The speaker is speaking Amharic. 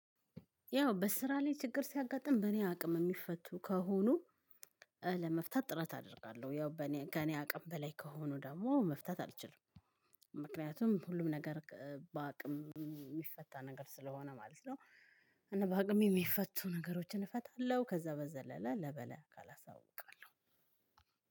ያው በስራ ላይ ችግር ሲያጋጥም በእኔ አቅም የሚፈቱ ከሆኑ ለመፍታት ጥረት አደርጋለሁ። ያው በእኔ ከእኔ አቅም በላይ ከሆኑ ደግሞ መፍታት አልችልም። ምክንያቱም ሁሉም ነገር በ አቅም የሚፈታ ነገር ስለሆነ ማለት ነው። እና በ አቅሜ የሚፈቱ ነገሮችን እፈታለሁ ከዛ በዘለለ ለ በላይ አካል አሳውቃለሁ።